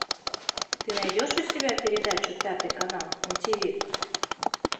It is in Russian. ты найдешь у себя передачу пятый канал на тиви